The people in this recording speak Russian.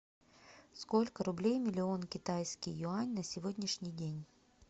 сколько рублей миллион китайский юань на сегодняшний день